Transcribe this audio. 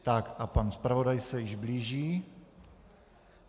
Tak a pan zpravodaj se již blíží.